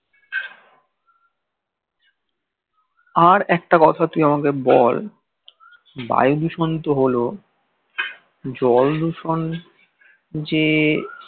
আর একটা কথা তুই আমাকে বল বায়ু দূষণ তো হলো জল দূষণ যে